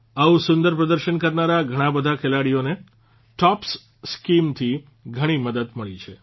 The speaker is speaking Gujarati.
આવું સુંદર પ્રદર્શન કરનારા ઘણાબધા ખેલાડીઓને ટોપ્સ સ્કીમ થી ઘણી મદદ મળી રહી છે